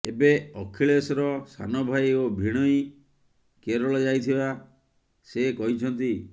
ଏବେ ଅଖିଲେଶର ସାନ ଭାଇ ଓ ଭିଣୋଇ କେରଳ ଯାଇଥିବା ସେ କହିଛନ୍ତି